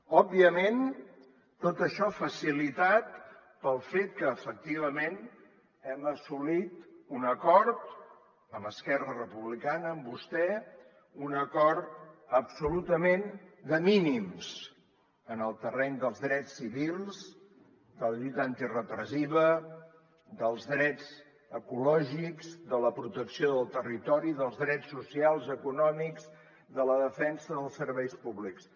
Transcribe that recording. òbviament tot això facilitat pel fet que efectivament hem assolit un acord amb esquerra republicana amb vostè un acord absolutament de mínims en el terreny dels drets civils de la lluita antirepressiva dels drets ecològics de la protecció del territori dels drets socials econòmics de la defensa dels serveis públics